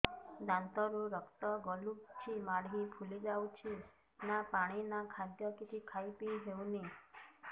ଦାନ୍ତ ରୁ ରକ୍ତ ଗଳୁଛି ମାଢି ଫୁଲି ଯାଉଛି ନା ପାଣି ନା ଖାଦ୍ୟ କିଛି ଖାଇ ପିଇ ହେଉନି